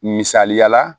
Misaliyala